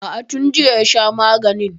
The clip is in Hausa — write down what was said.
A'a, tun jiya ya sha maganin.